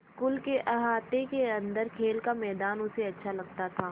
school के अहाते के अन्दर खेल का मैदान उसे अच्छा लगता था